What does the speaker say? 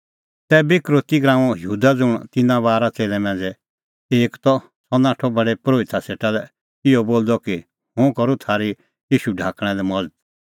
तैबै यहूदा इसकरोती ज़ुंण तिन्नां बारा च़ेल्लै मांझ़ै एक त सह नाठअ प्रधान परोहिता सेटा लै इहअ बोलदअ कि हुंह करूं थारी ईशू ढाकणा लै मज़त